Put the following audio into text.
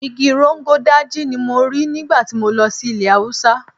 Igi Rogon Daji ni mo rí nígbà tí mo lọ sí ilẹ̀ Haúsá.